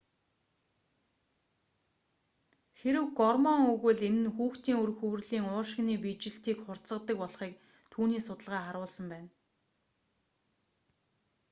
хэрэв гормон өгвөл энэ нь хүүхдийн үр хөврөлийн уушигны биежилтийг хурдасгадаг болохыг түүний судалгаа харуулсан байна